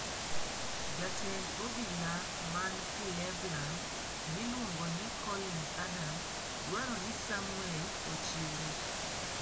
Jatend obila man Cleveland miluongo ni Collins Adam, dwaro ni Samwel ochiwre.